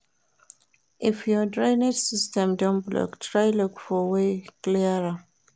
If your drainage system don block try look for way clear am